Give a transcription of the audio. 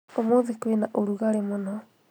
ũmũthĩ kwĩna ũrugarĩ mũno